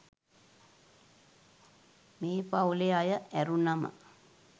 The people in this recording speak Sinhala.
මේ පවුලෙ අය ඇරුණම